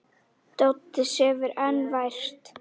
Doddi sefur enn vært.